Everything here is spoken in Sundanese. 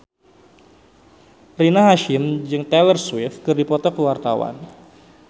Rina Hasyim jeung Taylor Swift keur dipoto ku wartawan